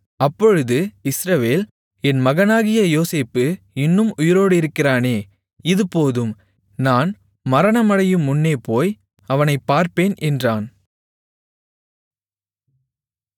அப்பொழுது இஸ்ரவேல் என் மகனாகிய யோசேப்பு இன்னும் உயிரோடிருக்கிறானே இது போதும் நான் மரணமடையுமுன்னே போய் அவனைப் பார்ப்பேன் என்றான்